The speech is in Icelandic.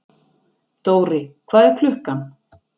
Dóri, hvað er klukkan?